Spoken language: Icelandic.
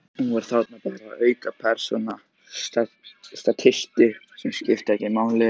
Hann var þarna bara, aukapersóna, statisti sem skipti ekki máli.